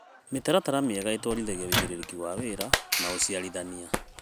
Mĩtaratara mĩega ĩtwarithagia wĩigĩrĩki wa wĩra na ũciarithania.